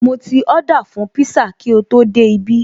Mo ti Ọ́dà fún pízá kí o tó dé ibí